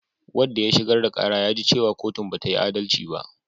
Wanda ya shigar da ƙara ya ji cewa kotun bata yi adalci ba